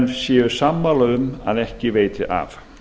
séu sammála um að ekki veiti af